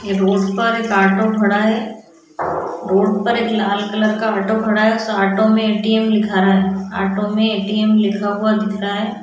ये रोड पर एक ऑटो खड़ा है रोड पर एक लाल कलर का ऑटो खड़ा है उसे ऑटो में ए.टी.एम. लिखा है ऑटो में ए.टी.एम. लिखा हुआ दिख रहा है।